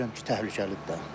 Bilirəm ki, təhlükəlidir də.